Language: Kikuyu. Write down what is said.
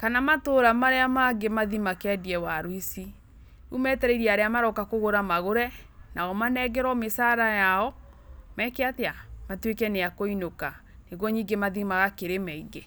kana matũra marĩa mangĩ mathĩ makendie waru ici. Rĩu metereire arĩa maroka kũgũra magũre nao manengerwo mĩcara yao matuĩke nĩ akũinũka nĩguo ningĩ mathĩ magakĩrĩme ĩngĩ.